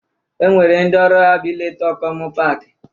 E nwere ndị ọrụ ha bụ ileta okomu paaki